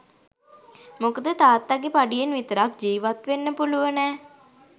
මොකද තාත්තගෙ පඩියෙන් විතරක් ජිවත් වෙන්න පුළුවනෑ.